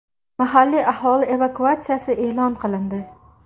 Mahalliy aholi evakuatsiyasi e’lon qilindi.